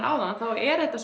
áðan þá er þetta